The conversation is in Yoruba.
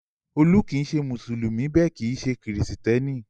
Olú kì í ṣe Mùsùlùmí bẹ́ẹ̀ kì í ṣe Kìrìtẹ́ẹ́nì.